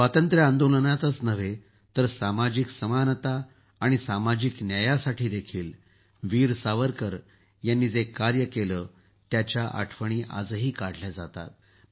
स्वातंत्र्य आंदोलनातच नव्हे तर सामाजिक समानता आणि सामाजिक न्यायासाठीही वीर सावरकर यांनी जितकं केलं त्याच्या आठवणी आजही काढल्या जातात